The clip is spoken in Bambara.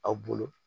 Aw bolo